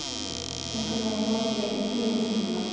Einhvern veginn þoldi ég ekki tilhugsunina.